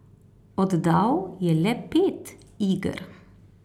Oddal je le pet iger.